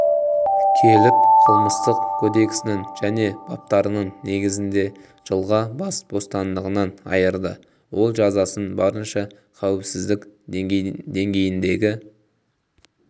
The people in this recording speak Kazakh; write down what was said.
келіп қылмыстық кодексінің және баптарының негізінде жылға бас бостандығынан айырды ол жазасын барынша қауіпсіздік деңгейіндегі